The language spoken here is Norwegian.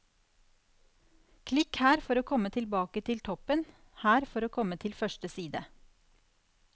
Klikk her for å komme tilbake til toppen, her for å komme til første side.